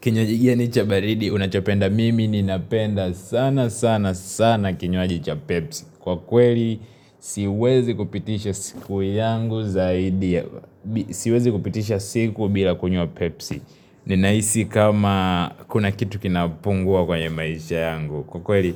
Kinywaji gani ni cha baridi Unachopenda mimi ni napenda sana sana sana kinywaji cha pepsi kwa kweli Siwezi kupitisha siku yangu zaidi ya bi Siwezi kupitisha siku bila kunywa Pepsi ninaisi kama Kuna kitu kinapungua kwenye maisha yangu kwa kweli